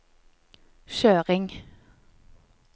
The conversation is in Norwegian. kjøring